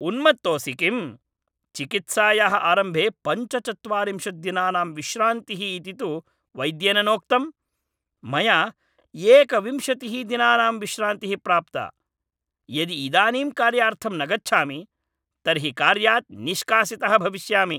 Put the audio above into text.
उन्मत्तोसि किम्? चिकित्सायाः आरम्भे पञ्चचत्वारिंशत् दिनानां विश्रान्तिः इति तु वैद्येन नोक्तम्, मया एकविंशतिः दिनानां विश्रान्तिः प्राप्ता, यदि इदानीं कार्यार्थं न गच्छामि तर्हि कार्यात् निष्कासितः भविष्यामि।